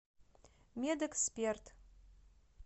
медэксперт